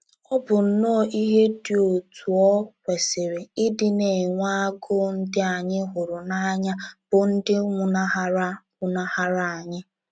Ọ bụ nnọọ ihe dị otú o kwesịrị ịdị na-enwe agụụ ndị anyị hụrụ n’anya bụ́ ndị nwụnahara nwụnahara anyị.